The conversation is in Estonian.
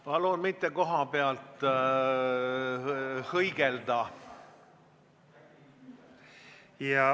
Palun mitte kohapealt hõigelda!